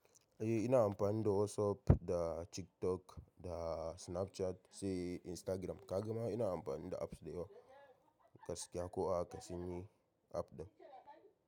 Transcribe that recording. Eh ina amfani da WhatsApp da TikTok da Snapchat sai Instagram. Ka gama ina amfani da apps dayawa. Gaskiya ko a hakaka sanyi app ɗin.